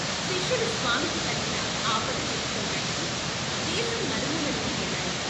శిష్యులు స్వామికి కలిగిన ఆపద చెప్పుకోటానికి దేశం నలుమూలలకీ వెళ్ళారు.